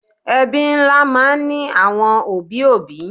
Ẹbí ńlá máa ń ní àwọn òbí òbí